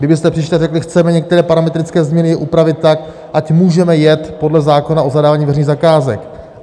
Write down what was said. Kdybyste přišli a řekli: chceme některé parametrické změny upravit tak, ať můžeme jet podle zákona o zadávání veřejných zakázek.